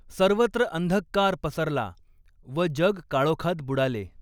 सर्वत्र अंधकार पसरला व जग काळोखात बुडाले.